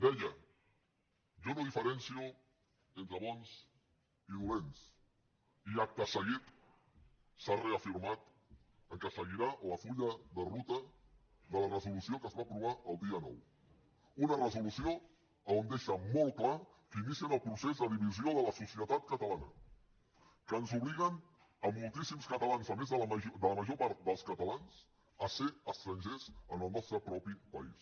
deia jo no diferencio entre bons i dolents i acte seguit s’ha reafirmat que seguirà el full de ruta de la resolució que es va aprovar el dia nou una resolució on es deixa molt clar que inicien el procés de divisió de la societat catalana que ens obliguen a moltíssims catalans a més de la major part dels catalans a ser estrangers en el nostre propi país